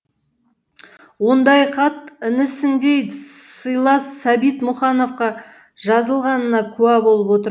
ондай хат інісіндей сыйлас сәбит мұқановқа жазылғанына куә болып отырм